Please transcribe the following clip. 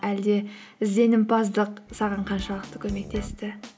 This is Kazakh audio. әлде ізденімпаздық саған қаншалықты көмектесті